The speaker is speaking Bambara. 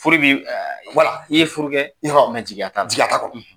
Furu bɛ wala i ye furu kɛ jigiya t'a la, jigiya t'a kɔnɔ.